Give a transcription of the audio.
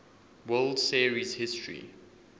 world series history